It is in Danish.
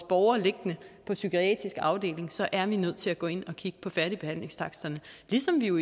borgere liggende på psykiatriske afdelinger så er vi nødt til at gå ind og kigge på færdigbehandlingstaksterne ligesom vi